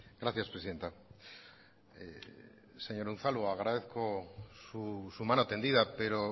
gracias presidenta señor unzalu agradezco su mano tendida pero